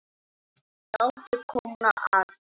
Látið kólna aðeins.